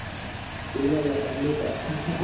ಇಲ್ಲ ಇಲ್ಲ ಖಂಡಿತಾ .